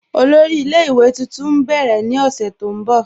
Ọlọ́rì ilẹ̀-ìwé tuntun n bẹ̀rẹ̀ ni oṣù ti n bọ̀.